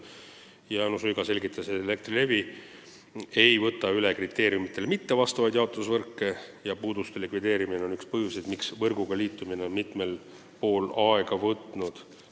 Jaanus Uiga selgitas, et Elektrilevi ei võta üle kriteeriumidele mittevastavaid jaotusvõrke ja puuduste likvideerimine on üks põhjus, miks võrguga liitumine on mitmel pool aega võtnud.